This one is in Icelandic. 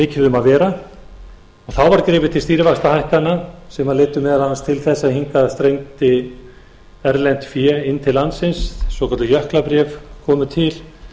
mikið um að vera þá var gripið til stýrivaxtahækkana sem leiddu meðal annars til þess að hingað streymdi erlent fé inn til landsins svokölluð jöklabréf komu til